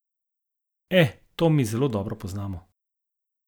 E, to mi zelo dobro poznamo.